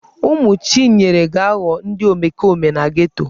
Ụmụ Chinyere ga-aghọ ndị omekome na geto.